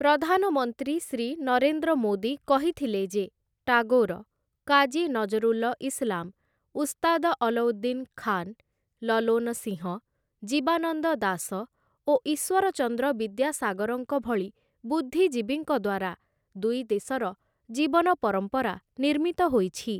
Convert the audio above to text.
ପ୍ରଧାନମନ୍ତ୍ରୀ ଶ୍ରୀ ନରେନ୍ଦ୍ର ମୋଦୀ କହିଥିଲେ ଯେ ଟାଗୋର, କାଜୀ ନଜରୁଲ ଇସ୍‌ଲାମ, ଉସ୍ତାଦ ଅଲଉଦ୍ଦୀନ ଖାନ୍‌, ଲଲୋନ ସିଂହ, ଜୀବାନନ୍ଦ ଦାସ ଓ ଈଶ୍ୱରଚନ୍ଦ୍ର ବିଦ୍ୟାସାଗରଙ୍କ ଭଳି ବୁଦ୍ଧିଜୀବୀଙ୍କ ଦ୍ୱାରା ଦୁଇ ଦେଶର ଜୀବନପରମ୍ପରା ନିର୍ମିତ ହୋଇଛି ।